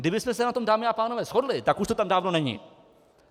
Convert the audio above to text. Kdybychom se na tom, dámy a pánové, shodli, tak už to tam dávno není!